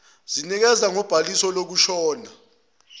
sinikezwa ngobhaliso lokushona